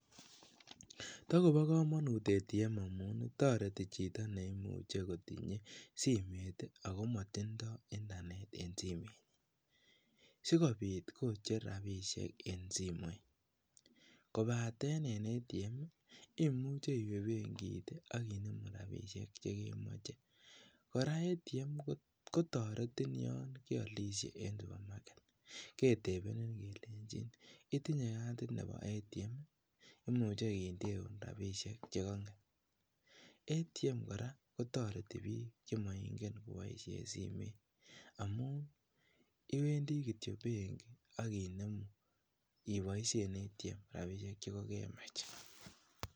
Tokobo komonut ATM amun toreti chito neimuche kotinye simoit ak komotindo internet en simoit sikobit Kocher rabishek en simoit kobaten en ATM imuche iwee benkit ak inemu rabishek chekemoche kora ATM kotoretin yoon keolishe en supermarket, ketebenin kelenchin itinye katit nebo ATM imuche kondeun rabishek chekong'et, ATM kora kotoreti biik chemoing'en koboishen simoit amuun iwendi kitiok benki ak inemu iboishen ATM rabishek chekokemach.